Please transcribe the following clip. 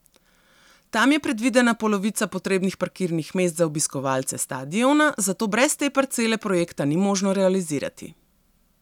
Tam je predvidena polovica potrebnih parkirnih mest za obiskovalce stadiona, zato brez te parcele projekta ni možno realizirati.